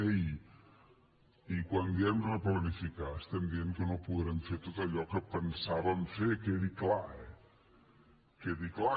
ei i quan diem replanificar estem dient que no podrem fer tot allò que pensàvem fer quedi clar eh que quedi clar